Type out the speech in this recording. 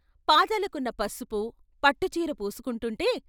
పాదాలకున్న పసుపు, పట్టుచీర పూసుకుంటుంటే.